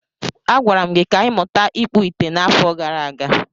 Agwara m gi ka ịmuta ịkpụ ite n'afo gara aga.